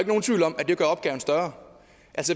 nogen tvivl om at det gør opgaven større